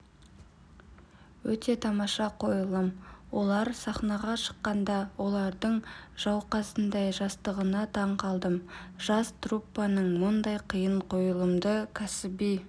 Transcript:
өте тамаша қойылым олар сахнаға шыққанда олардың жауқазындай жастығына таңқалдым жас труппаның мұндай қиын қойылымды кәсіби